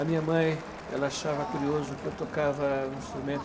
A minha mãe ela achava curioso que eu tocava um instrumento